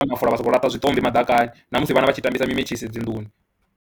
Mafola, vha sokou laṱa zwiṱopi maḓakani na musi vhana vha tshi tambisa dzi metshisi dzi nnḓuni.